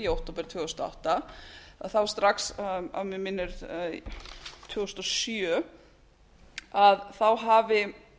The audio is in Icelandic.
október tvö þúsund og átta að þá strax að mig minnir tvö þúsund og sjö hafi